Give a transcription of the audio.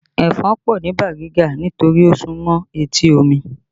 Ẹ̀fọn pọ̀ ni Bariga nítorí ó súmọ́ etí omi